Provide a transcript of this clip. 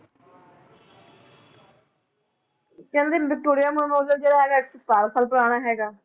ਕਹਿੰਦੇ Victoria memorial ਜਿਹੜਾ ਹੈਗਾ ਹੈ ਇੱਕ ਸੌ ਸਤਾਰਾਂ ਸਾਲ ਪੁਰਾਣਾ ਹੈਗਾ।